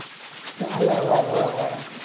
અલ્યા ઓવે ઓવે ઓવે,